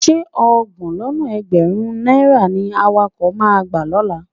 Ṣé ọgbọ̀n lọ́nà ẹgbẹ̀rún-ún náírà ni awakọ̀ máa gbà lọ́la?